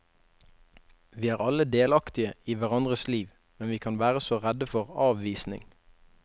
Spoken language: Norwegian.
Vi er alle delaktige i hverandres liv, men vi kan være så redde for avvisning.